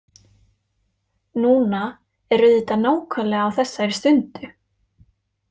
Núna er auðvitað nákvæmlega á þessari stundu.